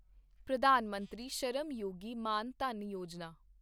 Pradhan Mantri Shram Yogi Maan Dhan Yojana